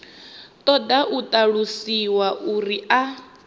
ṱoḓa u ṱalusiwa uri a